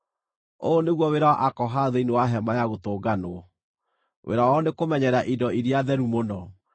“Ũyũ nĩguo wĩra wa Akohathu thĩinĩ wa Hema-ya-Gũtũnganwo: wĩra wao nĩ kũmenyerera indo iria theru mũno.